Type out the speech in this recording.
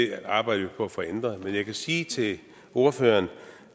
det arbejder vi på at få ændret men jeg kan sige til ordføreren